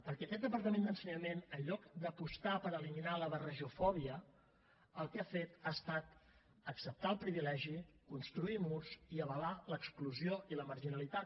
perquè aquest departament d’ensenyament en lloc d’apostar per eliminar la barrejofòbia el que ha fet ha estat acceptar el privilegi construir murs i avalar l’exclusió i la marginalitat